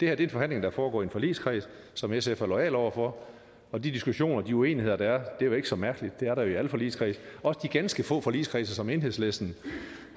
er en forhandling der foregår i en forligskreds som sf er loyal over for og de diskussioner de uenigheder der er er jo ikke så mærkelige det er der jo i alle forligskredse også de ganske få forligskredse som enhedslisten